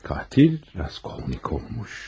Qatil Raskolnikov olmuş.